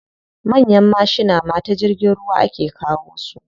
Manyan mashina ma ta jirgin ruwa ake kawo su.